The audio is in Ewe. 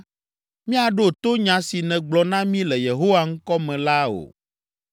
“Míaɖo to nya si nègblɔ na mí le Yehowa ŋkɔ me la o!